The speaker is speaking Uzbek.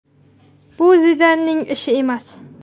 Bu Zidanning ishi emas.